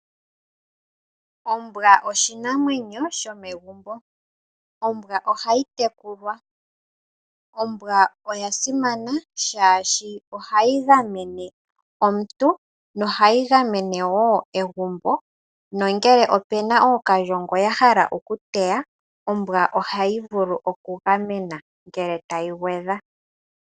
Ombwa oshinamwenyo shomegumbo, ombwa ohayi tekulwa ombwa oya simana shaashi ohayi gamene omuntu nohayi gamene wo egumbo nongele opu na ookalyongo ya hala okuteya ombwa ohayi vulu oku game na ngele tayi gwedha.